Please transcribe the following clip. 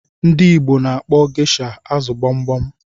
Ndị Igbo na-akpọ geisha azụ gbogbom